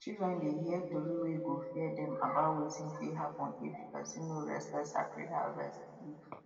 children dey hear tori wey go fear dem about wetin fit happen if person no respect sacred harvest